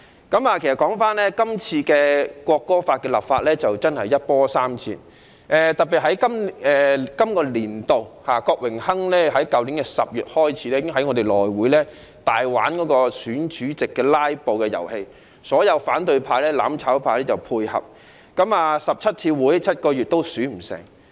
《國歌條例草案》的立法一波三折，特別是在本立法年度，郭榮鏗議員由去年10月起，已經在內務委員會上大玩選主席的"拉布"遊戲，所有反對派或"攬炒派"配合，共開了17次會議，花了7個月也未能選出內會主席。